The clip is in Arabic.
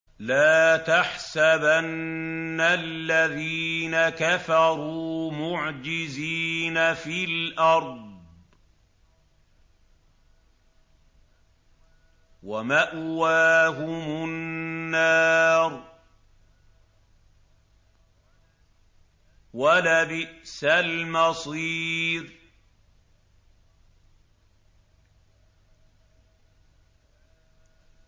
لَا تَحْسَبَنَّ الَّذِينَ كَفَرُوا مُعْجِزِينَ فِي الْأَرْضِ ۚ وَمَأْوَاهُمُ النَّارُ ۖ وَلَبِئْسَ الْمَصِيرُ